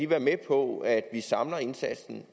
være med på at vi samler indsatsen